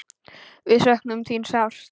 Við söknum þín sárt.